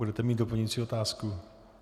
Budete mít doplňující otázku?